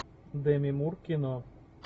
деми мур кино